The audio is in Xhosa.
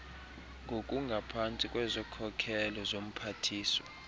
ngokungaphantsi kwezokhokhelo zomphathiswa